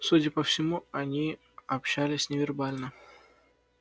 судя по всему они общались невербально